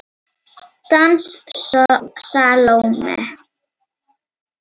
Dans Salóme.